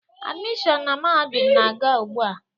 Admission na mahadum na-aga ugbu a.